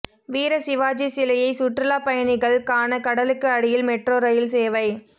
வீர சிவாஜி சிலையை சுற்றுலாப் பயணிகள் காண கடலுக்கு அடியில் மெட்ரோ ரயில் சேவை